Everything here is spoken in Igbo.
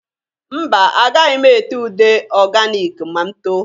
Mba! Agaghị m ete ude oganik ma m too.